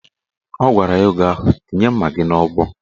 Ọ gwara ya oge ahụ "Tinye mma gị n'ọgbọ"